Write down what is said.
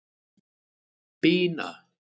Bína